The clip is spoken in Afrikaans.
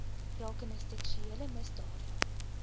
rakende seksuele misdade